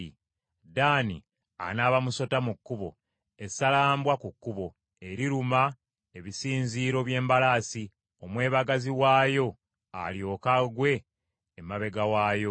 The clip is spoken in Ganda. Ddaani anaaba musota mu kkubo, essalambwa ku kkubo, eriruma ebisinziiro by’embalaasi, omwebagazi waayo alyoke agwe emabega waayo.